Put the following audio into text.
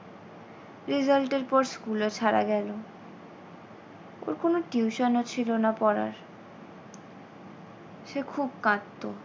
result এর পর school ও ছাড়া গেল ওর কোনো tuition ও ছিল না পড়ার। সে খুব কাঁদত।